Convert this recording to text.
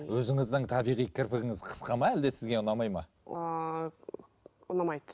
өзіңіздің табиғи кірпігіңіз қысқа ма әлде сізге ұнамайды ма ыыы ұнамайды